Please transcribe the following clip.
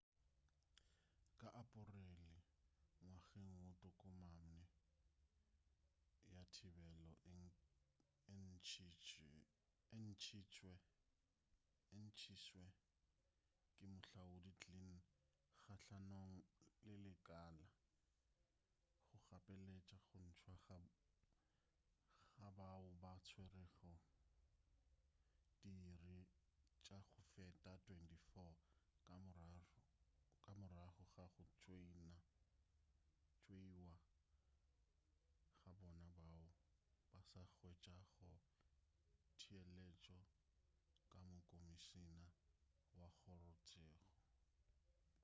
ka aporele ngwageng wo tokomane ya thibelo e ntšitšwe ke moahlodi glynn gahlanong le lekala go gapeletša go ntšwa ga bao ba tswerego diiri tša go feta 24 ka morago ga go tšeeiwa ga bona bao ba sa hwetšago theeletšo ka mokomišina wa kgorotseko